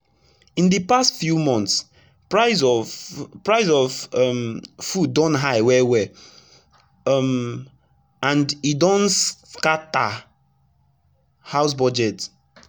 in d past few months price of price of um food don high well well um and e don scata house budget